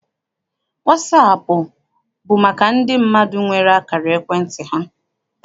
Wasaapụ bụ maka ndị mmadụ nwere akara ekwentị ha.